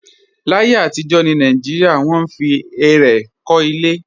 Láyé àtijọ́ ní Nàìjíríà, wọ́n fi ẹrẹ̀ kọ́ ilé